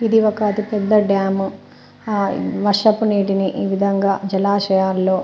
ఇది ఒక అతి పెద్ద డ్యాము ఆ వర్షపు నీటిని ఈ విధంగా జలాశయాల్లో.